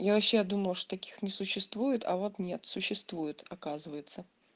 я вообще думала что таких не существует а вот нет существует оказывается